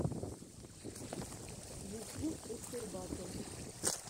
ютьюб пушер батл